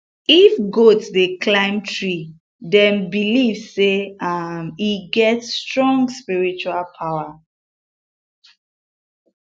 if goat dey climb tree dem believe say um e get strong spiritual power